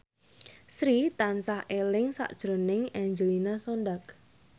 Sri tansah eling sakjroning Angelina Sondakh